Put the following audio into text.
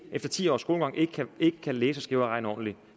efter ti års skolegang ikke kan ikke kan læse skrive og regne ordentligt